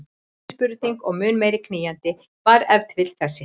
Önnur spurning og mun meira knýjandi var ef til vill þessi